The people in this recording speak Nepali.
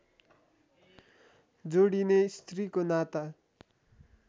जोडिने स्त्रीको नाता